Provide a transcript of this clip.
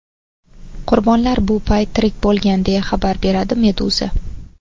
Qurbonlar bu payt tirik bo‘lgan, deya xabar beradi Meduza.